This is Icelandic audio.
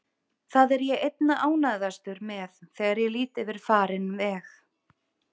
Það er ég einna ánægðastur með þegar ég lít yfir farinn veg.